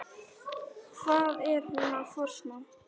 Hvað er hún að forsmá?